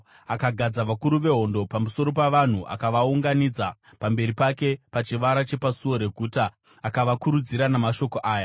Akagadza vakuru vehondo pamusoro pavanhu akavaunganidza pamberi pake pachivara chepasuo reguta akavakurudzira namashoko aya: